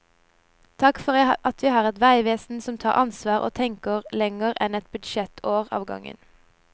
Takk for at vi har et veivesen som tar ansvar og tenker lenger enn ett budsjettår av gangen.